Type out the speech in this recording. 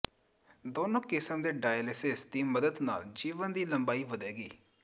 ਦੋਨੋਂ ਕਿਸਮ ਦੇ ਡਾਇਿਲਿਸਿਸ ਦੀ ਮਦਦ ਨਾਲ ਜੀਵਨ ਦੀ ਲੰਬਾਈ ਵਧੇਗੀ